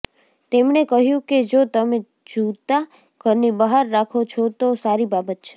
તેમણે કહ્યું કે જો તમે જૂતાં ઘરની બહાર રાખો છો તો સારી બાબત છે